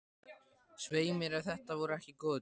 Svei mér ef þetta voru ekki góðir dagar.